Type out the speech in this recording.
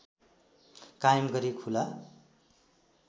कायम गरी खुला